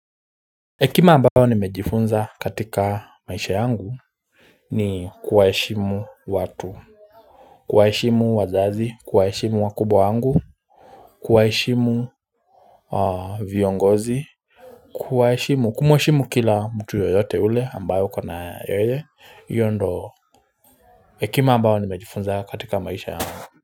Hekima ambayo nimejifunza katika maisha yangu ni kuwaheshimu watu kuwaheshimu wazazi, kuwaheshimu wakubwa wangu kuwaheshimu viongozi. Kuwaheshimu, kumheshimu kila mtu yoyote ule ambayo uko na yeye. Hiyo ndo ekima ambayo nimejifunza katika maisha yangu.